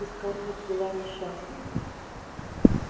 и скарлетт была несчастна